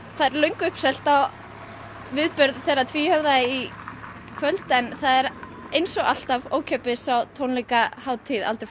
það er löngu uppselt á viðburð þeirra tvíhöfða í kvöld en eins og alltaf ókeypis á tónleika aldrei fór